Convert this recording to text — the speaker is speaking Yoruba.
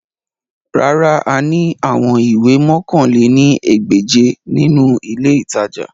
Rárà, a ni awọn iwe mọ̀kan lé ní ẹgbẹ́je ninu ile itaja